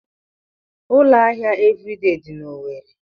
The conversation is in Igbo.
Ụlọ ahịa Eviridee dị n'Owerre.